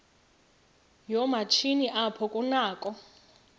yoomatshini apho kunakho